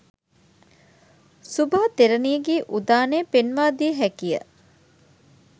සුභා තෙරණියගේ උදානය පෙන්වා දිය හැකි ය.